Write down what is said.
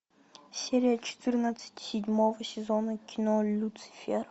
серия четырнадцать седьмого сезона кино люцифер